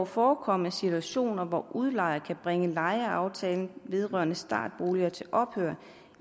forekomme situationer hvor udlejer kan bringe lejeaftalen vedrørende startboliger til ophør